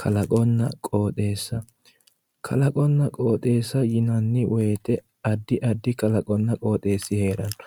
kaqonnna qoxeessa kalaqonna qoxeessa yinanni woyte addi addi kalaqonna qoxeessi heeranno